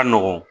Ka nɔgɔn